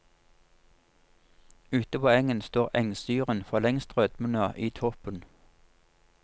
Ute på engen står engsyren forlengst rødmende i toppen.